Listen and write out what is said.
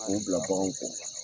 K'o bila baganw kɔ